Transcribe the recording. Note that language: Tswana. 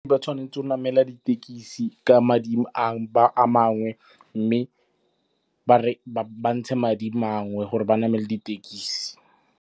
Ba tshwanetse go namela ditekisi ka madi a mangwe mme ba ntshe madi mangwe gore ba namele ditekisi.